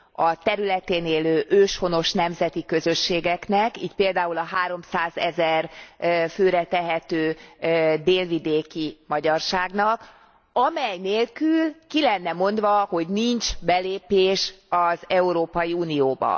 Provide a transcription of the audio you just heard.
a területén élő őshonos nemzeti közösségeknek, így például a háromszázezer főre tehető délvidéki magyarságnak, amely nélkül ki lenne mondva, hogy nincs belépés az Európai Unióba.